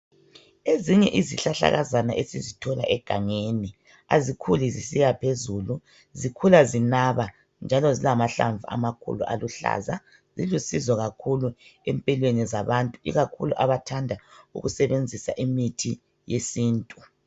ezinye izihlahlakazana esizithola egangeni azikhuli zisiyaphezulu zikhula zinaba njalo zilahlamvu amakhulu aluhlaza zilusizo kakhulu empilweni zabantu ikakhulu abathanda ukusebenzisa imithi yesintu